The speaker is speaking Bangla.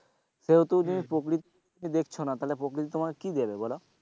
সেও তো যদি দেখছো না তাহলে প্রকৃতি তোমাকে কি দেবে,